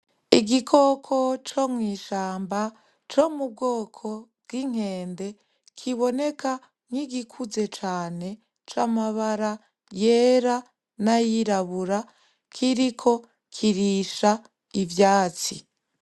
Igikoko co mwishamba co mu bwoko bw'inkende kiboneka nkigikuze cane c'amabara yera n'ayirabura kiriko kirisha ivyatsi.